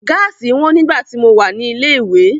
Gáàsì wọn nígbà tí mo wà ní ilé ìwé.